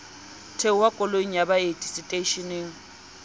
theoha koloing ya baeti seteishening